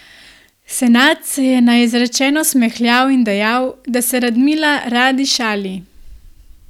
Senad se je na izrečeno smehljal in dejal, da se Radmila radi šali.